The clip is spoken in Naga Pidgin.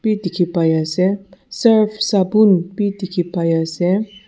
bi dikhi paiase surf sapun bi dikhipaiase.